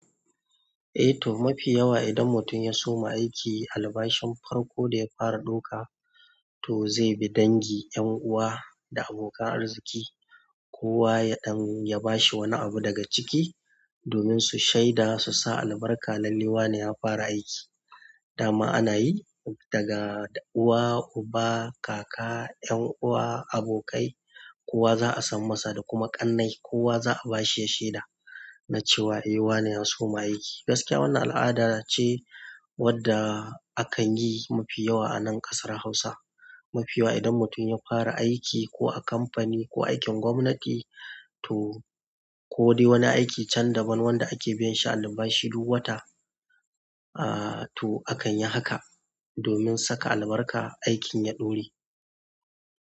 Eh to mafi yawa idan mutum ya soma aiki albashi farko da ya fara doka to zai bi dangi, ƴan uwa da abokan arziki kowa ya bashi wani abu daga ciki domin su shaida su sa albarka lalle wa ne ya fara aiki. Dama ana yi daga da uwa, uba, kaka, 'yan uwa, abokai kowa za'a san masa da kuma ƙannai kowa za'a bashi ya sheda na cewa eh wani ya soma aiki. Gaskiya wannan al'ada ce wadda a kan yi mafi yawa a nan ƙasar Hausa. Mafi yawa idan mutum ya fara aiki ko a kamfani ko aikin gwamnati to-- ko dai wani aiki can daban wanda ake biyan shi albashi duk wata ah to akan yi haka domin saka albarka aikin ya ɗore.